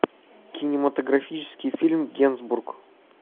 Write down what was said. кинематографический фильм генсбур